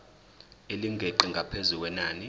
elingeqi ngaphezu kwenani